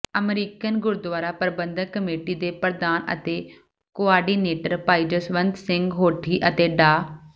American Gurdwara Prabandhak committee ਦੇ ਪ੍ਰਧਾਨ ਅਤੇ ਕੋਆਰਡੀਨੇਟਰ ਭਾਈ ਜਸਵੰਤ ਸਿੰਘ ਹੋਠੀ ਅਤੇ ਡਾ